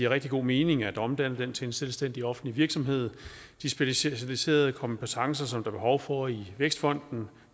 rigtig god mening at omdanne den til en selvstændig offentlig virksomhed de specialiserede kompetencer som behov for i vækstfonden